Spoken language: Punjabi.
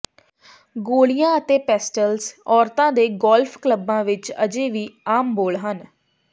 ਗੋਲੀਆਂ ਅਤੇ ਪੇਸਟਲਸ ਔਰਤਾਂ ਦੇ ਗੋਲਫ ਕਲੱਬਾਂ ਵਿੱਚ ਅਜੇ ਵੀ ਆਮ ਬੋਲ ਹਨ